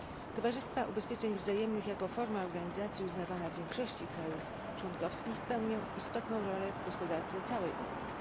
Towarzystwa ubezpieczeń wzajemnych, jako forma organizacji uznawana w większości państw członkowskich, pełnią istotną rolę w gospodarce całej Unii.